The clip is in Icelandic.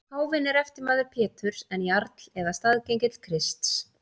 Páfinn er eftirmaður Péturs en jarl eða staðgengill Krists.